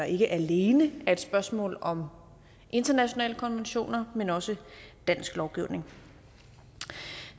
ikke alene er et spørgsmål om internationale konventioner men også dansk lovgivning